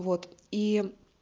вот и